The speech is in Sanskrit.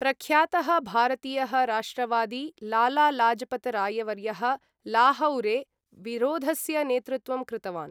प्रख्यातः भारतीयः राष्ट्रवादी लाला लाजपत रायवर्यः लाहौरे विरोधस्य नेतृत्वं कृतवान्।